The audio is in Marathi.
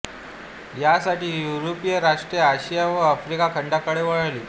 यासाठी युरोपीय राष्ट्रे अशिया व आफ्रिका खंडाकडे वळली